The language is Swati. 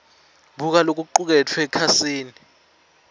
buka lokucuketfwe ekhasini